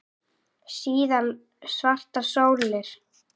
Síðan svartar sólir.